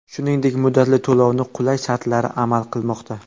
Shuningdek muddatli to‘lovni qulay shartlari amal qilmoqda.